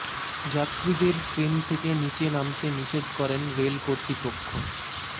যাত্রীদের ট্রেন থেকে নীচে নামতে নিষেধ করেন রেল কর্তৃপক্ষ